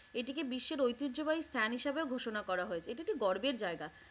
এটিকে বিশ্বের ঐতিহ্যবাহী স্থান হিসেবে ঘোষণা করা হয়েছে। এটা একটি গর্বের জায়গা।